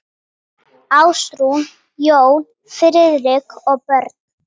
Ásrún, Jón Friðrik og börn.